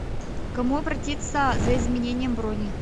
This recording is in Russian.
к кому обратиться за изменением брони